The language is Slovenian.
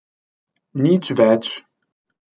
Nič več.